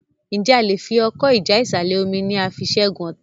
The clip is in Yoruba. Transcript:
Nje a lẹ fí Ọkọ́ ìjà ìsàlẹ̀-omi ní a fí ṣẹgun ọta?